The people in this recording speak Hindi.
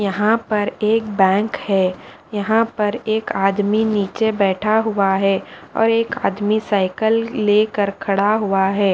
यहाँ पर एक बैंक है यहाँ पर एक आदमी नीचे बैठा हुआ है और एक आदमी साइकल लेकर खड़ा हुआ है।